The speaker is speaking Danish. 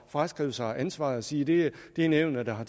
fraskrive sig ansvaret og sige det er nævnet der har